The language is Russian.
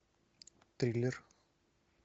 триллер